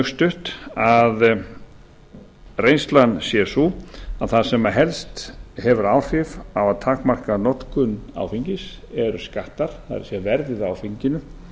stutt að reynslan sé sú að það sem helst hefur áhrif á að takmarka notkun áfengis eru skattar það er verðið á áfenginu